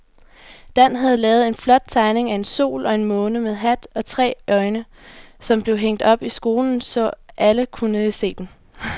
Dan havde lavet en flot tegning af en sol og en måne med hat og tre øjne, som blev hængt op i skolen, så alle kunne se den.